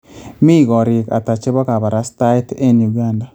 Mi korik ata chebo kabarastaet en Uganda